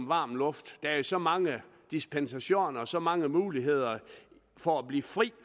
varm luft der er så mange dispensationer så mange muligheder for at blive fri